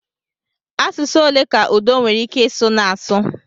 Asụsụ ole ka Udo nwere ike ịsụ na-asụ?